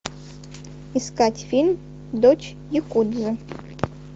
искать фильм дочь якудзы